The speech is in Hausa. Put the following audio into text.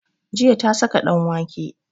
Jiya ta saka ɗanwake